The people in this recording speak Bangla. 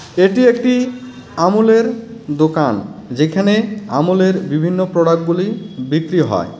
এটি একটি আমূলের দোকান যেখানে আমূলের বিভিন্ন প্রোডাক্টগুলি বিক্রি হয় .